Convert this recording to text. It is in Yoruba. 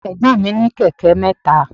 Ẹ̀gbọ́n mi ní kẹ̀kẹ́ mẹ́ta.